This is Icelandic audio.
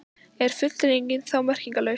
Er fullyrðingin þá merkingarlaus?